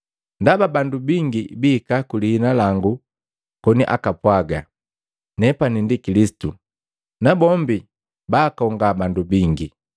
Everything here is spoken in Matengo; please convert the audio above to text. Ndaba bandu bingi bihika ku lihina langu koni apwaaga, ‘Nepani ndi Kilisitu,’ nabombi baakonga bandu bingi.